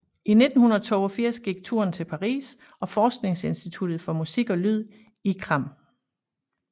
I 1982 gik turen til Paris og forskningsinstituttet for musik og lyd ICRAM